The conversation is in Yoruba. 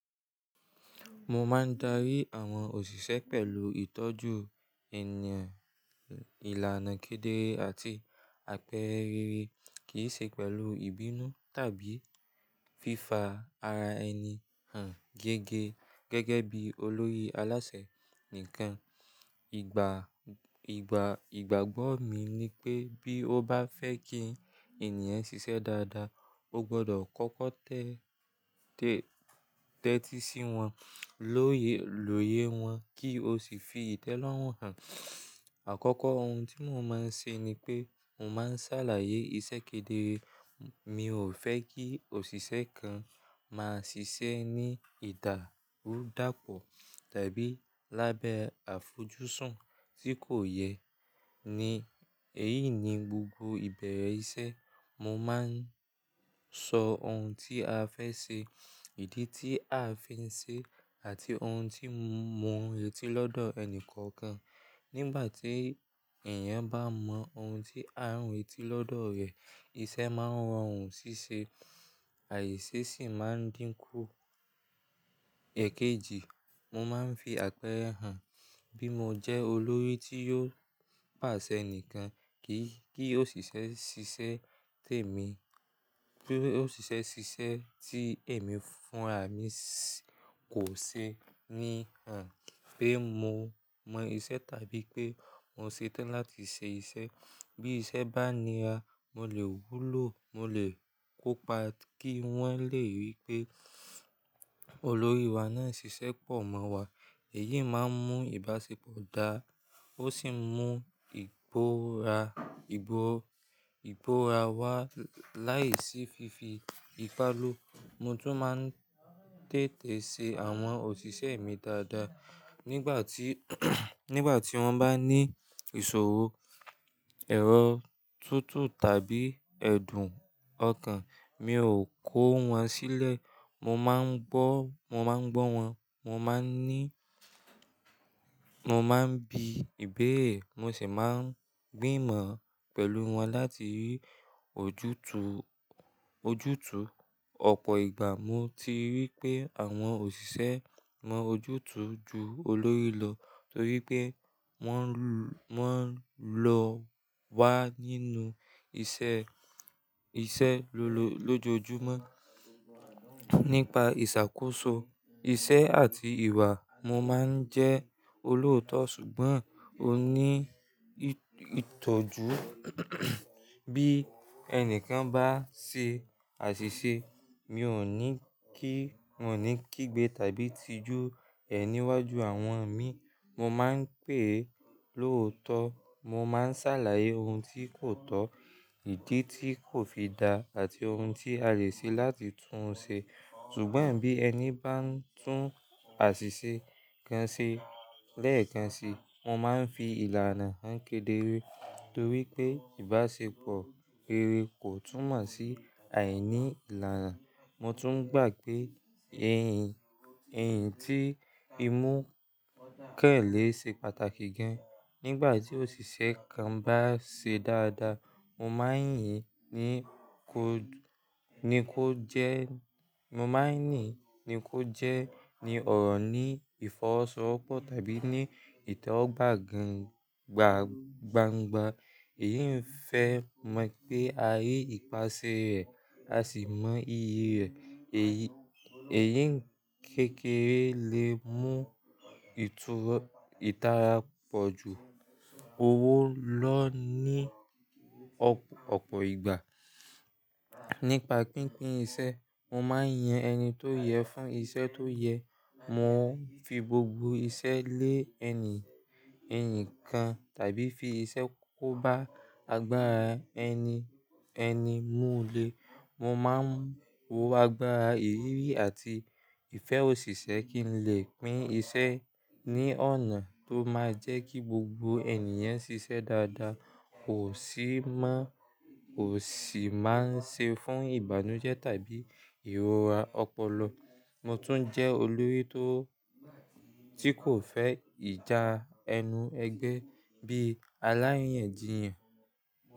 Mo máa ń darí àwọn òṣìṣẹ́ pẹ̀lú ìtọ́jú ènìyàn, ìlànà kedere àti àpẹrẹ rere, kì í ṣe pẹ̀lú ìbínú tàbí fífa ara ẹni hàn gẹ́gẹ́ gẹ́gẹ́ bí olórí alásè nìkan. Ìgbà, ìgbà, ìgbàgbọ́ mi ni pé bí ó bá fẹ́ kí ènìyàn ṣiṣẹ́ dáadáa, o gbọdọ̀ kọ́kọ́ tẹ́, tẹ́, tẹ́tí sí wọn, lóye, lóye wọn kí o sì fi ìtẹ́ lọ́wọ́ han. Àkọ́kọ́ ohun tí mo máa ń ṣe ni pé mo máa ń ṣàlàyé iṣẹ́ kedere. Mi ò fẹ́ kí òṣìṣẹ́ kan máa ṣiṣẹ́ ní ìdàrúdàpọ̀ tàbí lábẹ́ àfojúsùn tí kò yẹ. Ni, èyí ni gbogbo ìbẹ̀rẹ̀ iṣẹ́ mo máa ń sọ ohun tí a fẹ́ ṣe, ìdí tí a fi ń ṣe àti ohun tí mo n retí lọ́dọ̀ ẹni kankan. Nígbà tí ẹ̀yàn bá mọ ohun tí a ń retí lọ́dọ̀ rẹ̀, iṣẹ́ máa ń rọrùn ṣíṣe, àìsí sì máa ń dínkù. Ẹ̀kejì, mo máa ń fi àpẹẹrẹ hàn. Bí mo jẹ́ olórí tí yóò pàṣẹ nìkan kí, kí òṣìṣẹ́ ṣiṣẹ́ tèmi, kí òṣìṣẹ́ ṣiṣẹ́ tí èmi fún rà mí kò ṣe ní hàn pé mo mọ iṣẹ́ tàbí pé mo ṣetán láti ṣe iṣẹ́. Bí iṣẹ́ bá nira, mo lè wúlò, mo lè kópa kí wọ́n lè rí pé olórí wa náà ń ṣiṣẹ́ pọ̀ mọ́ wa. Èyí máa ń mú ìbáṣepọ̀ dáa, ó sì ń mú ìgbóra, ìbò, ìgbóra wá láìsí fífi ìpalù. Mo tún máa ń tètè ṣe àwọn òṣìṣẹ́ mi dáadáa. Nígbà tí, nígbà tí wọ́n bá ní ìṣòro, èrò tútù tàbí ẹ̀dùn ọkàn, mi ò kó wọn sílẹ̀. Mo máa ń gbọ́, mo máa ń gbọ́ wọn, mo máa ń ní, mo máa ń bi ìbéèrè mo sì máa ń gbìmọ̀ pẹ̀lú wọn láti rí ojútùú, ojútùú. Ọ̀pọ̀ ìgbà mo ti rí pé àwọn òṣìṣẹ́ mọ ojútùú ju olórí lọ torí pé wọ́n, wọ́n lọ́wa nínú iṣẹ́, iṣẹ́ lójoojúmọ́. Nípa ìṣàkóso, iṣẹ́ àti ìwà, mo máa ń jẹ́ olóòótọ́ ṣùgbọ́n oní ìtọ́jú. Bí ẹni kan bá ṣe àṣìṣe, mi ò ní kí, mi ò ní kígbe tàbí tijú ẹ̀ níwájú àwọn mi. Mo máa ń pè é lóòótọ́. Mo máa ń ṣàlàyé ohun tí kò tọ́, ìdí tí kò fi dá àti ohun tí a lè ṣe láti tún un ṣe. Ṣùgbọ́n bí ẹni bá ń tún àṣìṣe kan ṣe lẹ́ẹ̀kan sí, mo máa ń fi ìlànà hàn kedere torí pé ìbáṣepọ̀ rere kò túnmọ̀ sí àìní ìlànà. Mo tún gbà pé ẹ̀yìn, ẹ̀yìn tí i mú kẹ̀lé ṣe pàtàkì gan. Nígbà tí òṣìṣẹ́ kan bá ṣe dáadáa, mo máa ń yìn ni kó jẹ́, mo máa ń nì ni kó jẹ́ ni ọ̀rọ̀ ní ìfọwọ́sowọ́pọ̀ tàbí ní ìtọ́wọ̀ gbá gan gba, gbangba. Èyí ń fẹ mọ̀ pé a rí ìpáṣẹ rẹ̀, a sì mọ ìyè rẹ̀. Èyí, èyí kékeré lè mú ìtura, ìtara pọ̀ ju owó lọ ní ọ̀pọ̀, ọ̀pọ̀ ìgbà. Nípa pínpín iṣẹ́, mo máa ń yan ẹni tó yẹ fún iṣẹ́ tó yẹ. Mò ń fi gbogbo iṣẹ́ lé ẹni, ẹni kan tàbí fi iṣẹ́ kó bá agbára ẹni, ẹni múlẹ̀. Mo máa ń wo agbára ìrírí àti ìfẹ́ òṣìṣẹ́ kí n lè pín iṣẹ́ ní ọ̀nà tó máa jẹ́ kí gbogbo ènìyàn ṣiṣẹ́ dáadáa kò sì má, kò sì má ń ṣe fún ìbànújẹ́ tàbí ìrora ọpọlọ. Mo tún jẹ́ olórí tó, tí kò fẹ́ ìjà ẹnu ẹgbẹ bí aláyan jiyan.